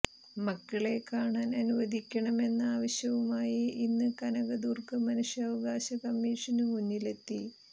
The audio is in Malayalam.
മക്കളെ കാണാൻ അനുവദിക്കണമെന്ന ആവശ്യവുമായി ഇന്ന് കനകദുർഗ മനുഷ്യാവകാശ കമ്മീഷനു മുന്നിലെത്തി